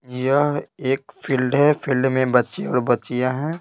यह एक फील्ड है फील्ड में बच्चे और बच्चियां हैं।